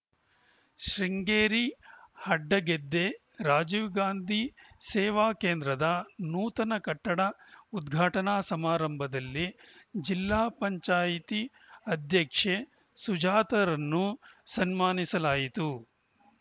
ಶೃಂಗೇರಿ ಅಡ್ಡಗೆದ್ದೆ ರಾಜೀವಗಾಂಧಿ ಸೇವಾ ಕೇಂದ್ರದ ನೂತನ ಕಟ್ಟಡ ಉದ್ಘಾಟನಾ ಸಮಾರಂಭದಲ್ಲಿ ಜಿಲ್ಲಾ ಪಂಚಾಯಿತಿ ಅಧ್ಯಕ್ಷೆ ಸುಜಾತರನ್ನು ಸನ್ಮಾನಿಸಲಾಯಿತು